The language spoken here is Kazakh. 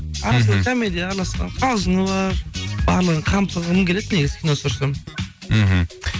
арасында комедия араласқан қалжыны бар барлығын қамтығым келеді негізі кино түсірсем мхм